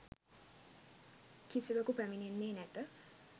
කිසිවෙකු පැමිණෙන්නේ නැත.